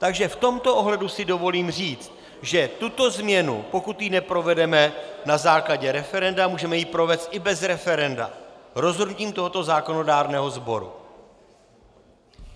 Takže v tomto ohledu si dovolím říct, že tuto změnu, pokud ji neprovedeme na základě referenda, můžeme ji provést i bez referenda rozhodnutím tohoto zákonodárného sboru.